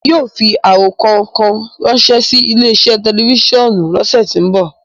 Emi yóò fi arokọ kan ranṣẹ si ile-iṣẹ tẹlifisiọnu lọsẹ ti nbọ.